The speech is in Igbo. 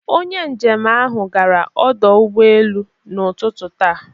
Onye njem ahụ gara ọdọ ụgbọelu n'ụtụtụ taata